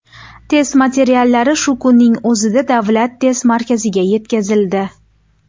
Test materiallari shu kunning o‘zida Davlat test markaziga yetkazildi”.